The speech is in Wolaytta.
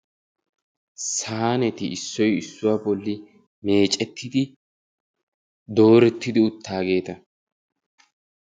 Saaneti issoy issuwa bolli meeccettidi doorettidi uttaageeta.